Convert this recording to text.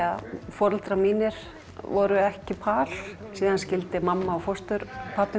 foreldrar mínir voru ekki par og síðan skildu mamma mín og fósturpabbi